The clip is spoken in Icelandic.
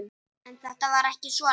En þetta var ekki svona.